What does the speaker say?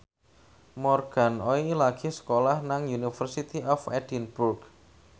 Morgan Oey lagi sekolah nang University of Edinburgh